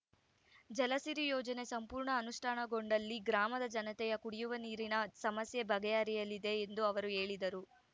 ಜಲಸಿರಿ ಯೋಜನೆ ಸಂಪೂರ್ಣ ಅನುಷ್ಟಾನಗೊಂಡಲ್ಲಿ ಗ್ರಾಮದ ಜನತೆಯ ಕುಡಿಯುವ ನೀರಿನ ಸಮಸ್ಯೆಬಗೆಹರಿಯಲಿದೆ ಎಂದು ಅವರು ಹೇಳಿದರು